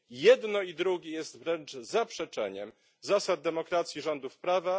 Jedno i drugie jest wręcz zaprzeczeniem zasad demokracji rządów prawa.